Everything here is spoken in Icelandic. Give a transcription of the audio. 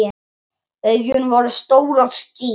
Augun voru stór og skýr.